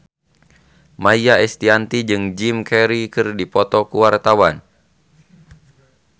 Maia Estianty jeung Jim Carey keur dipoto ku wartawan